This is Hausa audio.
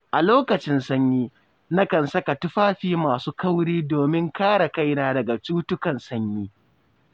A lokacin sanyi, nakan saka tufafi masu kauri domin kare kaina daga cutukan sanyi.